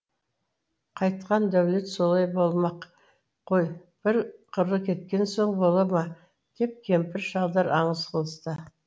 қайтқан дәулет солай болмақ қой бір қыры кеткен соң бола ма деп кемпір шалдар аңыз қылысты